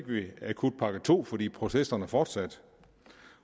vi akutpakke to fordi protesterne fortsatte